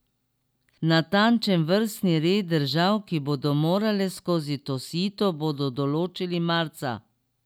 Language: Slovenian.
Natančen vrstni red držav, ki bodo morale skozi to sito, bodo določili marca.